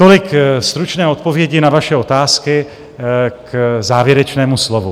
Tolik stručné odpovědi na vaše otázky k závěrečnému slovu.